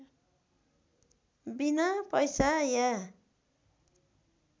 बिना पैसा या